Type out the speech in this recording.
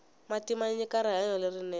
mati manyika rihanyo lerinene